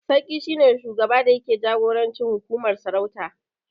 Sarki shi ne shugaba da yake jagorancin hukumar sarauta